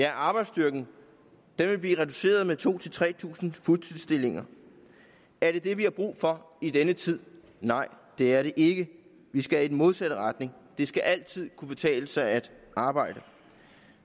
at arbejdsstyrken vil blive reduceret med to tre tusind fuldtidsstillinger er det dét vi har brug for i denne tid nej det er det ikke vi skal i den modsatte retning det skal altid kunne betale sig at arbejde